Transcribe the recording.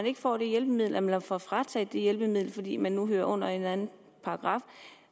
ikke får det hjælpemiddel eller får frataget et hjælpemiddel fordi man nu hører under en eller anden paragraf